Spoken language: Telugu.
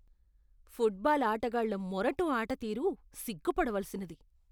ఫుట్బాల్ ఆటగాళ్ళ మొరటు ఆటతీరు సిగ్గుపడవలసినది.